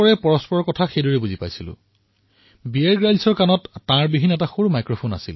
একে সময়তে কথাবতৰা হৈছিল আৰু বীয়েৰ গ্ৰীলছৰ কাণত এটা সৰু কৰ্ডলেছৰ দৰে যন্ত্ৰ আছিল